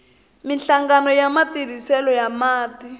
minhlangano ya matirhiselo ya mati